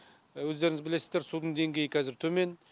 өздеріңіз білесіздер судың деңгейі казір төмен